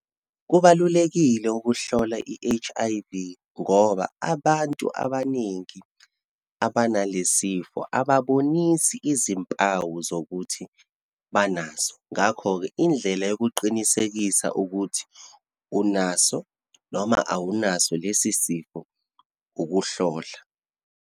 Kubalulekile ukuhlola i-H_I_V, ngoba abantu abaningi abanalesifo ababonisi izimpawu zokuthi banaso. Ngakho-ke indlela yokuqinisekisa ukuthi unaso, noma awunaso lesi sifo, ukuhlola.